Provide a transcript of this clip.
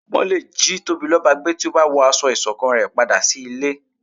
wọn lé jí Tobiloba gbé tí o ba wọ aṣọ ìṣọ̀kan re padà sí ilé